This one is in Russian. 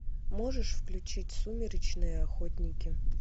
можешь включить сумеречные охотники